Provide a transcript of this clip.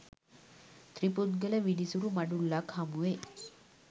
ත්‍රිපුද්ගල විනිසුරු මඩුල්ලක්‌ හමුවේ